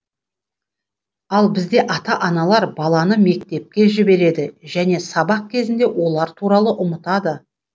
ал бізде ата аналар баланы мектепке жібереді және сабақ кезінде олар туралы ұмытады